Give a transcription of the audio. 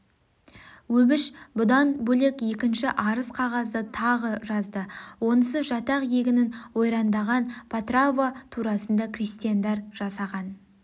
өбіш бүдан бөлек екінші арыз қағазды тағы жазды онысы жатақ егінін ойрандаған потрава турасында крестьяндар жасаған